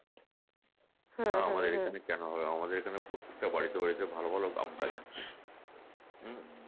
আমাদের এখানে কেনো হবে আমাদের এখানে প্রত্যেকটা বাড়িতে বাড়িতে ভালো ভালো আম গাছ আছে উম